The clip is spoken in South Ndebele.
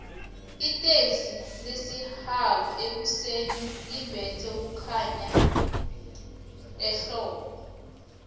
itixi lesihanu ekuseni libetha kukhanya ehbbo